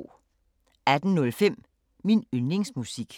18:05: Min yndlingsmusik